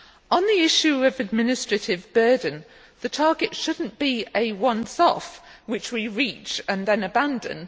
On the issue of administrative burden, the target should not be a once off which we reach and then abandon.